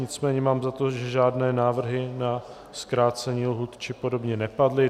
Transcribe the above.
Nicméně mám za to, že žádné návrhy na zkrácení lhůt či podobně nepadly.